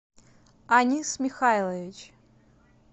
анис михайлович